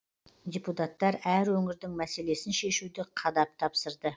депутаттар әр өңірдің мәселесін шешуді қадап тапсырды